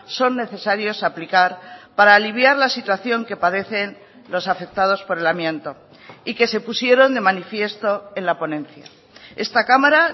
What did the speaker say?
son necesarios aplicar para aliviar la situación que padecen los afectados por el amianto y que se pusieron de manifiesto en la ponencia esta cámara